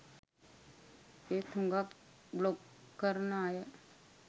එත් හුගක් බ්ලොග් කරන අය